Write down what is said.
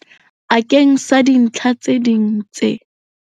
Akeng sa dintlha tse ding tse.